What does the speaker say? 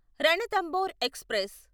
Ranthambore express